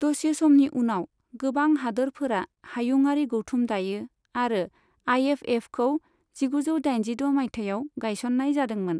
दसे समनि उनाव, गोबां हादोरफोरा हायुंआरि गौथुम दायो, आरो आइएफएफखौ जिगुजौ दाइनजिद' मायथाइयाव गायसननाय जादोंमोन।